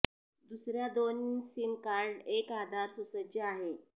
दुसऱ्या दोन sim card एक आधार सुसज्ज आहे